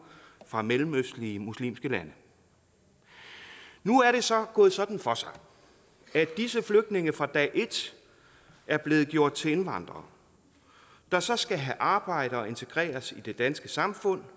fra mellemøstlige muslimske lande nu er det så gået sådan for sig at disse flygtninge fra dag et er blevet gjort til indvandrere der så skal have arbejde og integreres i det danske samfund